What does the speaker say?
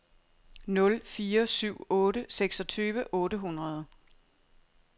nul fire syv otte seksogtyve otte hundrede